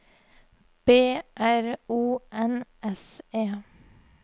B R O N S E